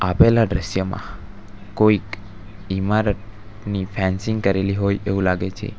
પેલા દ્રશ્યમાં કોઈક ઈમારતની ફેન્સીંગ કરેલી હોય એવું લાગે છે.